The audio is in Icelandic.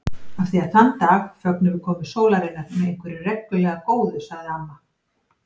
Af því að þann dag fögnum við komu sólarinnar með einhverju reglulega góðu sagði amma.